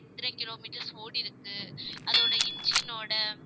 எத்தனை kilometres ஓடிருக்கு அதோட engine ஓட